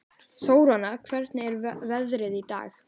Þóranna, hvernig er veðrið í dag?